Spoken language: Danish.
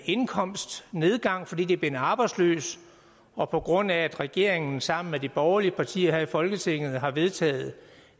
indkomstnedgang fordi de er blevet arbejdsløse og på grund af at regeringen sammen med de borgerlige partier her i folketinget har vedtaget